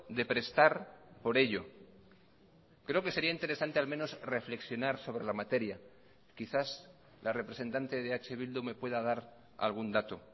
de prestar por ello creo que sería interesante al menos reflexionar sobre la materia quizás la representante de eh bildu me pueda dar algún dato